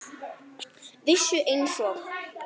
Vissu einsog